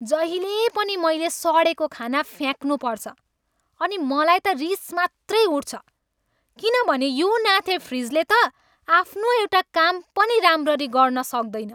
जहिले पनि मैले सडेको खाना फ्याक्नु पर्छ अनि मलाई त रिस मात्रै उठ्छ किनभने यो नाथे फ्रिजले त आफ्नो एउटा काम पनि राम्ररी गर्न सक्दैन।